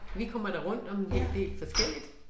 Vi kommer da rundt om en del forskelligt